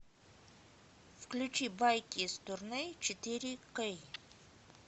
включи байки из турне четыре кей